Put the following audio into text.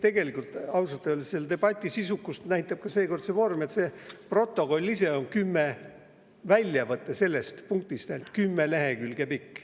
Tegelikult, kui ausalt öelda, siis debati sisukust näitab ka see, et protokollis on väljavõte selle punkti kümme lehekülge pikk.